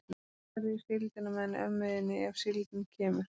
Svo ferðu í síldina með henni ömmu þinni, ef síldin kemur.